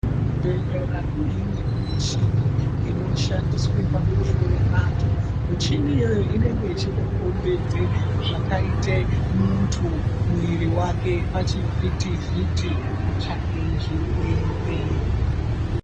Kuzvibhedhlera kune imweni michini inoshandiswe pakuhloya vanthu. Michini iyoyo inenge ichitokombidze, zvakaite munthu, muiri wake, pachivhitivhiti, kutsvake zvirwere.